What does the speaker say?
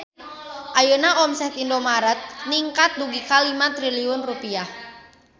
Ayeuna omset Indomart ningkat dugi ka 5 triliun rupiah